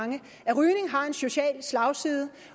social slagside